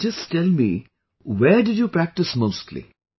Amlan just tell me where did you practice mostly